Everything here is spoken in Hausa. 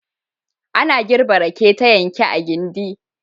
Ana girbe rake ta yanke a gindi.